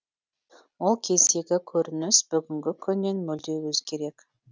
ол кездегі көрініс бүгінгі күннен мүлде өзгерек